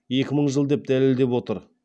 екі мың жыл деп дәлелдеп отыр